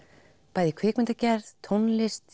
bæði í kvikmyndagerð tónlist